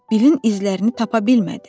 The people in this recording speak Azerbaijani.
Bilin izlərini tapa bilmədi.